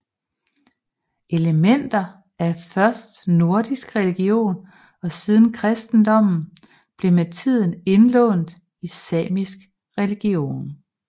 Elementer af først nordisk religion og siden kristendommen blev med tiden indlånt i samisk religion